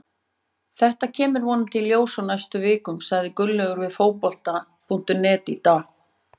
Þetta kemur vonandi í ljós á næstu vikum, sagði Gunnlaugur við Fótbolta.net í dag.